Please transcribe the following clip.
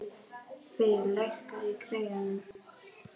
Veig, lækkaðu í græjunum.